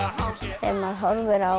ef maður horfir á